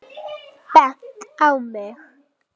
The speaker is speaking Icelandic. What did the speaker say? Hvað heitir pabbi þinn?